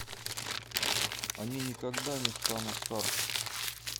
они никогда не станут старше